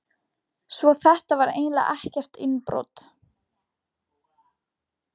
Svo þetta var eiginlega ekkert innbrot.